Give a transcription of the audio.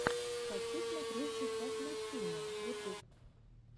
хочу смотреть сейчас мультфильмы ютуб